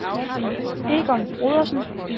Egon Brodersen